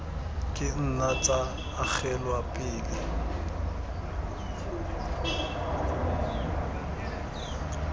ka nna tsa agelwa pele